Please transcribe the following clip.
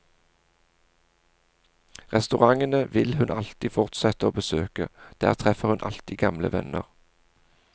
Restaurantene vil hun alltid fortsette å besøke, der treffer hun alltid gamle venner.